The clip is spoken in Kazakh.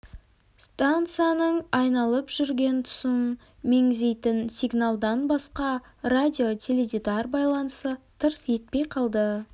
станцияның айналып жүрген тұсын меңзейтін сигналдан басқа радио-теледидар байланысы тырс етпей қалды